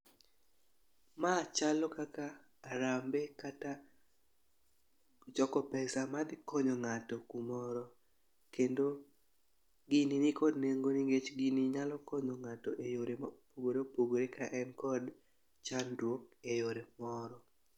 Ma chalo kaka harambe kata choko pesa ma dhi konyo ng'ato kumoro kendo gini nikod nengo nikech gini nyalo konyo ng'ato eyore mopogore opogore ka en kod chandruok e yore moro.